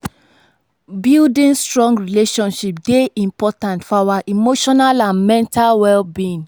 building strong friendships dey important for our emotional and mental well-being.